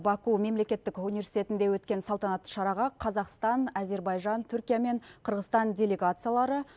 баку мемлекеттік университетінде өткен салтанатты шараға қазақстан әзірбайжан түркия мен қырғызстан делегациялары